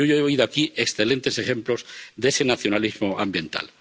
Yo hoy he oído aquí excelentes ejemplos de ese nacionalismo ambiental.